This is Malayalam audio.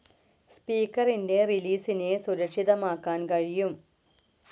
സ്പീക്കറിൻ്റെ റിലീസിനെ സുരക്ഷിതമാക്കാൻ കഴിയും.